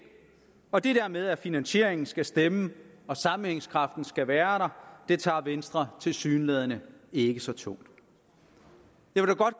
og det der med at finansieringen skal stemme og sammenhængskraften skal være der tager venstre tilsyneladende ikke så tungt